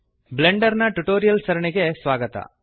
ಬ್ಲೆಂಡರ್ನ tutorials ಸರಣಿಗೆ ಸ್ವಾಗತ